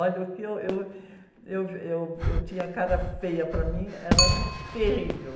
Olha, o que eu, eu, eu, eu tinha cara feia para mim, era terrível.